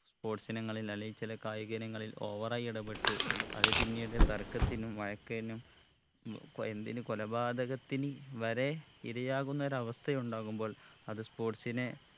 sports ഇനങ്ങളിൽ അല്ലേൽ ചില കായിക ഇനങ്ങളിൽ over ആയി ഇടപ്പെട്ട് അത് പിന്നീട് തർക്കത്തിനും വഴക്കെനും ഉം പ എന്തിന് കൊലപാതകത്തിന് വരെ ഇരയാകുന്ന ഒരവസ്ഥയുണ്ടാകുമ്പോൾ അത് sports നെ